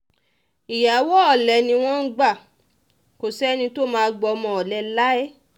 ìyàwó olè ni wọ́n ń gbà kó sẹ́ni tó máa gbọ́mọ olè láé